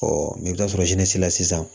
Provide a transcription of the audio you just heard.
mɛ i bɛ taa sɔrɔ la sisan